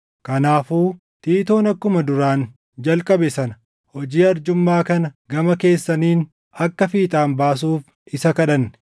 Kanaafuu Tiitoon akkuma duraan jalqabe sana hojii arjummaa kana gama keessaniin akka fiixaan baasuuf isa kadhanne.